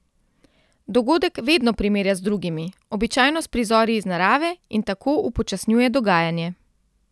Dogodek vedno primerja z drugimi, običajno s prizori iz narave, in tako upočasnjuje dogajanje.